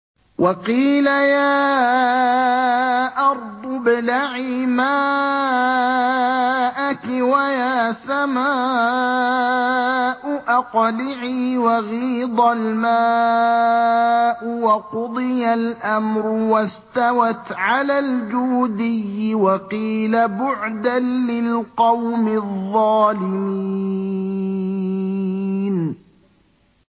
وَقِيلَ يَا أَرْضُ ابْلَعِي مَاءَكِ وَيَا سَمَاءُ أَقْلِعِي وَغِيضَ الْمَاءُ وَقُضِيَ الْأَمْرُ وَاسْتَوَتْ عَلَى الْجُودِيِّ ۖ وَقِيلَ بُعْدًا لِّلْقَوْمِ الظَّالِمِينَ